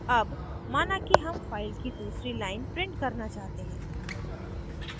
अब माना कि हम file की दूसरी line print करना चाहते हैं